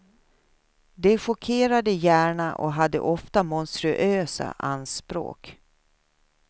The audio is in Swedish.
Det chockerade gärna och hade ofta monstruösa anspråk.